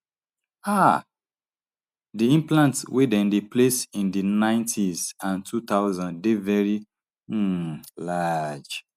um di implants wey dem dey place in di ninetys and two thousands dey veri um large